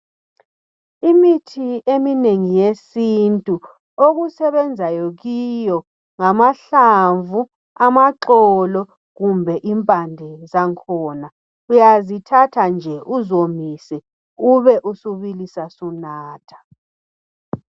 Imithi eminengi yesintu okusebenzayi kiyo ngamahlamvu, amaxolo kumbe impande zakhona. Uyazithatha nje uzomise ube subilisa sunatha.